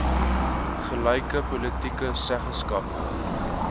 gelyke politieke seggenskap